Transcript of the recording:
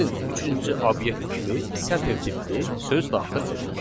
Gəlin üçüncü obyekt kimi sətr tipli söz daxil edək.